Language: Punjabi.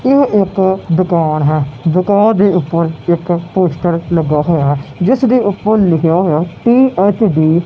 ਇਹ ਇੱਕ ਦੁਕਾਣ ਹੈ ਦੁਕਾਣ ਦੇ ਉੱਪਰ ਇੱਕ ਪੋਸਟਰ ਲੱਗਾ ਹੋਇਆ ਜਿਸਦੇ ਉੱਪਰ ਲਿਖਿਆ ਹੋਇਆ ਪੀ_ਐੱਚ_ਡੀ --